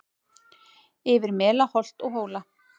Yfir mela holt og hóla